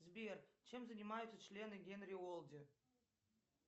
сбер чем занимаются члены генри олди